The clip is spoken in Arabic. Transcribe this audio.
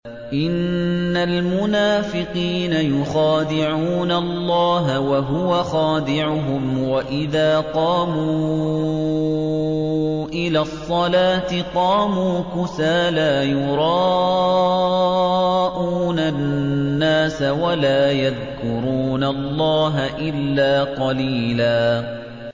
إِنَّ الْمُنَافِقِينَ يُخَادِعُونَ اللَّهَ وَهُوَ خَادِعُهُمْ وَإِذَا قَامُوا إِلَى الصَّلَاةِ قَامُوا كُسَالَىٰ يُرَاءُونَ النَّاسَ وَلَا يَذْكُرُونَ اللَّهَ إِلَّا قَلِيلًا